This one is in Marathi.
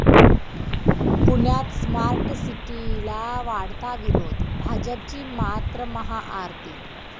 पुण्यात स्मार्ट सिटीला वाढता विरोध, भाजपची मात्र महाआरती